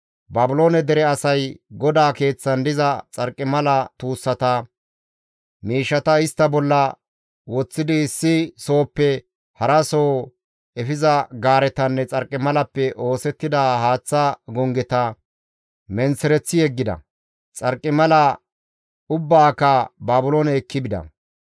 Baabiloone dere asay GODAA Keeththan diza xarqimala tuussata; miishshata istta bolla woththidi issi sohoppe haraso efiza gaaretanne xarqimalappe oosettida haaththa gonggeta menththereththi yeggida; xarqimala ubbaaka Baabiloone ekki bida.